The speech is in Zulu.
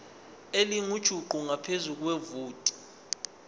elingujuqu ngaphezu kwevoti